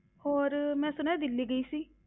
ਹੋਰ ਮੈਂ ਸੁਣਿਆ ਦਿੱਲੀ ਗਈ ਸੀ।